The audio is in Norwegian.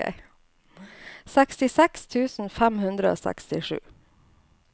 sekstiseks tusen fem hundre og sekstisju